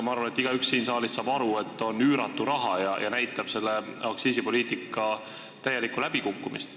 Ma arvan, et igaüks siin saalis saab aru, et see on üüratu raha, mis näitab selle aktsiisipoliitika täielikku läbikukkumist.